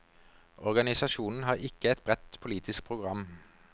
Organisasjonen har ikke et bredt politisk program.